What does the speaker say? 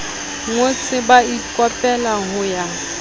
ngotse ba ikopela ho ya